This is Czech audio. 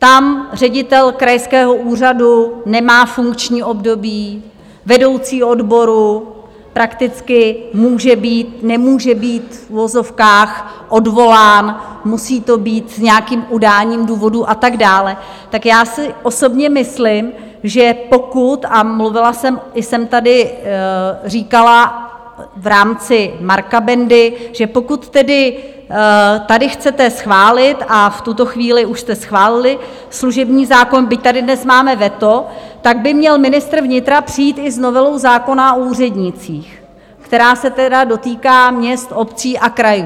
Tam ředitel krajského úřadu nemá funkční období, vedoucí odboru prakticky může být, nemůže být v uvozovkách, odvolán, musí to být s nějakým udáním důvodu a tak dále, tak já si osobně myslím, že pokud - a mluvila jsem, i jsem tady říkala v rámci Marka Bendy, že pokud tedy tady chcete schválit, a v tuto chvíli už jste schválili, služební zákon, byť tady dnes máme veto, tak by měl ministr vnitra přijít i s novelou zákona o úřednících, která se tedy dotýká měst, obcí a krajů.